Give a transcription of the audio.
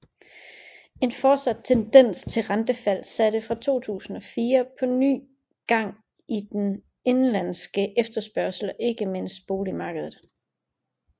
En fortsat tendens til rentefald satte fra 2004 på ny gang i den indenlandske efterspørgsel og ikke mindst boligmarkedet